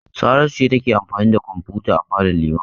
Saratu ce take amfani da kwamfuta a falon Liman.